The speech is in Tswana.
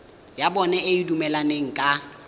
ya bona e dumelaneng ka